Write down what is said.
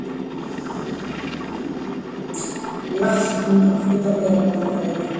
Lækkun á hlutabréfamarkaði